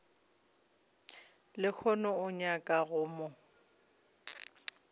lehono o nyaka go mo